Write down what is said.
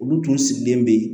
Olu tun sigilen bɛ yen